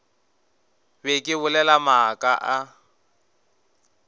be ke bolela maaka a